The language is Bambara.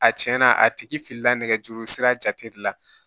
A cɛn na a tigi filila nɛgɛjuru sira jate de la